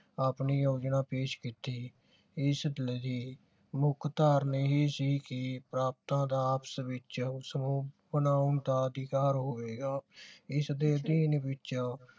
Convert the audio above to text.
ਆਪਣੀ ਯੋਜਨਾ ਪੇਸ਼ ਕੀਤੀ ਮੁਖ ਧਾਰਨਾ ਇਹ ਸੀ ਕਿ ਪ੍ਰਾਂਤਾਂ ਦਾ ਆਪਸ ਵਿਚ ਬਣਾਉਣ ਦਾ ਹੋਵੇਗਾ ਇਸ ਵਿਚ